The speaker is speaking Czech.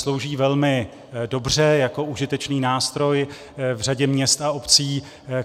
Slouží velmi dobře jako užitečný nástroj v řadě měst a obcí.